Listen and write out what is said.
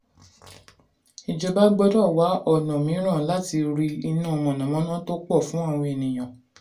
ìjọba gbọ́dọ̀ wá ọ̀nà mìíràn láti rí iná mànàmáná tó pọ̀ fún àwọn ènìyàn.